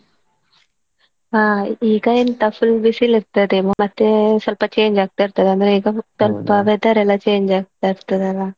ಹಾ ಈಗ ಎಂತ full ಬಿಸಿಲು ಇರ್ತದೆ ಮತ್ತೇ ಸ್ವಲ್ಪ change ಆಗ್ತಾ ಇರ್ತದ ಅಂದ್ರೆ ಸ್ವಲ್ಪ weather ಎಲ್ಲಾ change ಆಗ್ತಾ ಇರ್ತದಲ್ಲಾ.